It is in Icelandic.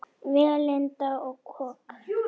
Vélinda og kok